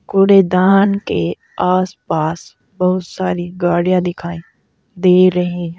कूड़ेदान के आसपास बहोत सारी गाड़ियां दिखाई दे रही--